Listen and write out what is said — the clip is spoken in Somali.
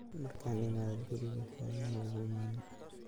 Markan iimade kuriga xoyo maokuimanin.